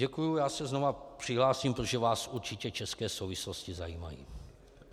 Děkuji, já se znovu přihlásím, protože vás určitě České souvislosti zajímají.